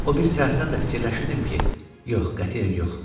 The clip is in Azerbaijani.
O biri tərəfdən də fikirləşirdim ki, yox, qətiyyən yox.